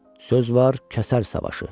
Söz var, kəsər savaşı.